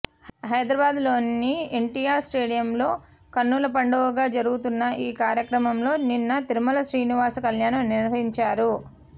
హైదరాబాద్లోని ఎన్టీఆర్ స్టేడియంలో కనులపండువగా జరుగుతున్న ఈ కార్యక్రమంలో నిన్న తిరుమల శ్రీనివాస కల్యాణం నిర్వహించారు